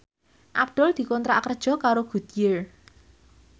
Abdul dikontrak kerja karo Goodyear